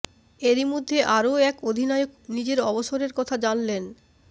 এরই মধ্যে আরও এক অধিনায়ক নিজের অবসরের কথা জানলেন